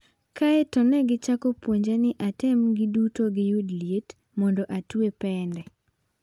Kae to ne gichako puonja ni atem giduto giyud liet, mondo atwe pende."